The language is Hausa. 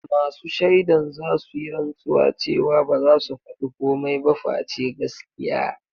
Masu shaidan zasu yi rantsuwa cewa baza su faɗi komai ba face gaskiya.